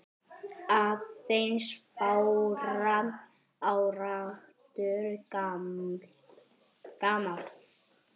aðeins fárra áratuga gamalt.